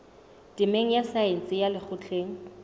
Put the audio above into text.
temeng ya saense ya lekgotleng